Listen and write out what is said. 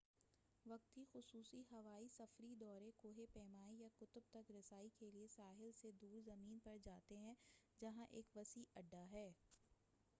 وقتی خصوصی ہوائی سفری دورے کوہ پیمائی یا قطب تک رسائی کے لئے ساحل سے دور زمین پر جاتے ہیں جہاں ایک وسیع اڈہ ہے